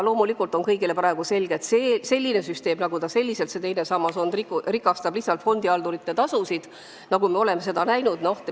Praegu on kõigile selge, et selline teine sammas lihtsalt täidab fondihaldurite taskuid – me oleme seda näinud.